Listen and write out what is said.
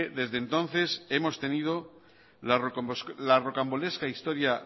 desde entonces hemos tenido la rocambolesca historia